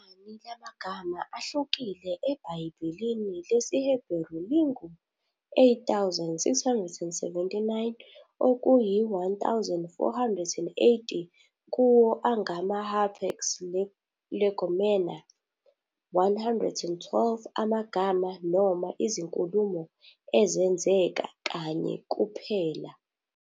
Inani lamagama ahlukile eBhayibhelini lesiHeberu lingu-8,679, okuyi-1 480 kuwo angama- hapax legomena, - 112 amagama noma izinkulumo ezenzeka kanye kuphela.